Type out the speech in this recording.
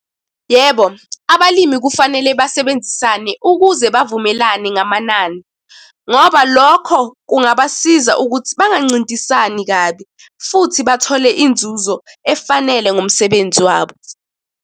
Yebo, abalimi kufanele basebenzisane ukuze bavumelane ngamanani, ngoba lokho kungabasiza ukuthi bangancintisani kabi, futhi bathole inzuzo efanele ngomsebenzi wabo.